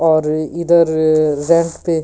और इधर रेंप पे--